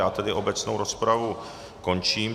Já tedy obecnou rozpravu končím.